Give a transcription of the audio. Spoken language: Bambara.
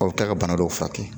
Aw bɛ taa ka bana dɔw furakɛ